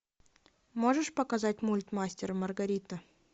можешь показать мульт мастер и маргарита